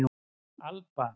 Alba